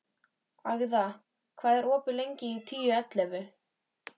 Agða, hvað er opið lengi í Tíu ellefu?